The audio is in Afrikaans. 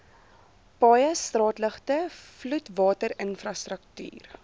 paaie straatligte vloedwaterinfrastruktuur